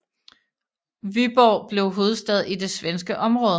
Vyborg blev hovedstad i det svenske område